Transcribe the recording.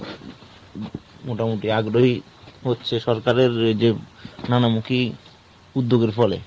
মোটামুটি আগ্রহী হচ্ছে সরকারের যে নানা মুখী উদ্যোগের ফলে।